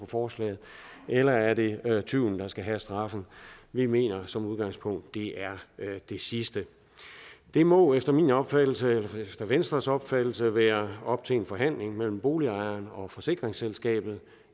forslaget eller er det tyven der skal have straffen vi mener som udgangspunkt det er det sidste det må efter min opfattelse og efter venstres opfattelse være op til en forhandling mellem boligejeren og forsikringsselskabet